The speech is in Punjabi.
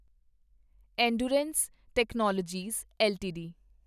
endurance technologies LTD